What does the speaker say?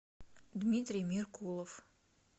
дмитрий меркулов